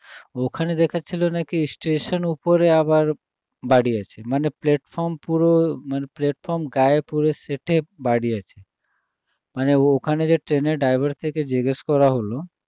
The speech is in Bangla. ওখানে দেখাচ্ছিল নাকি station এর উপরে আবার বাড়িয়েছে মানে platform পুরো platform গায়ে পুরো সেঁটে বাড়িয়েছে মানে ওখানে যে train এ driver এর থেকে জিজ্ঞেস করা হলো